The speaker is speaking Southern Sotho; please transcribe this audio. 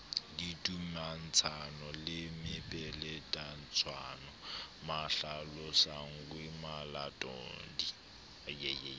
didumatshwano le mepeletotshwano mahlalosonngwe malatodi